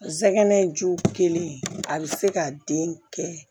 Zɛgɛnɛ in ju kelen a be se ka den kɛ